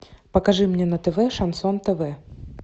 покажи мне на тв шансон тв